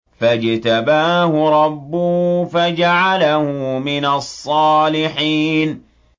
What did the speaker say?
فَاجْتَبَاهُ رَبُّهُ فَجَعَلَهُ مِنَ الصَّالِحِينَ